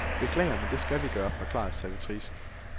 Beklager, men det skal vi gøre, forklarede servitricen.